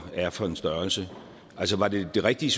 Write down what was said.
er for en størrelse var det det rigtige